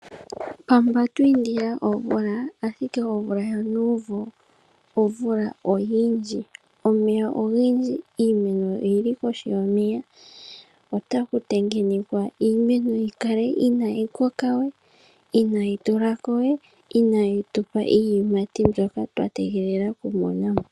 Pamba twi indila omvula ashike omvula yonuumvo omvula oyindji. Omeya ogendji . Iimeno oyili kohi yomeya . Ota kutengenekwa iimeno yikale inayi koka we, inayi tulako we inayi tupa iiyimati mbyoka twa tegelela oku monamo.